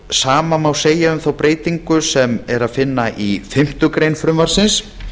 sama má segja um þá breytingu sem er að finna í fimmtu grein frumvarpsins